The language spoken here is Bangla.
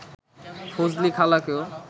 ফজলি খালাকেও